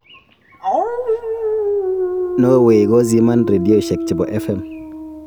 Norway koziman rendioshek chebo FM.